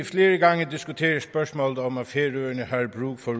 flere gange diskuteret spørgsmålet om at færøerne har brug for